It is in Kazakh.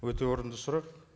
өте орынды сұрақ